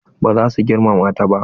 Ba za su girmama ta ba.